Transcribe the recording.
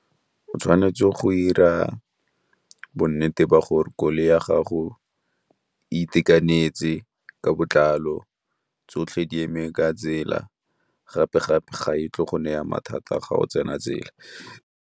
O tshwanetse go 'ira bonnete ba gore koloi ya gago itekanetse ka botlalo, tsotlhe di eme ka tsela gape gape ga e tle go ne ya mathata a ga o tsena tsela.